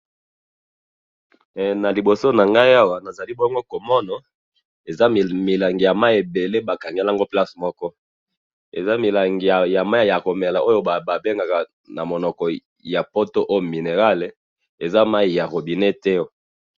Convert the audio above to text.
na liboso na ngai awa nazali bongo komona, ezali milangi ya mayi ebele ba kangi yango na place moko, eza milangi ya mayi ya komela oyo ba bengaka na monoko ya poto eau minéral, eza mayi ya robinet te.